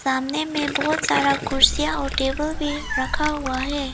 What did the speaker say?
सामने में बहुत सारा कुर्सियां और टेबल भी रखा हुआ है।